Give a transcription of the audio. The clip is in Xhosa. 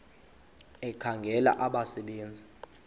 ekhangela abasebe nzi